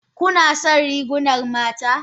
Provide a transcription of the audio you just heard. Kuna son rigunan mata?